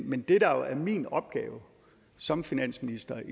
men det der er min opgave som finansminister